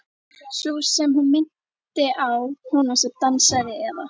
Sú sem hún minnti á, konan sem dansaði, eða.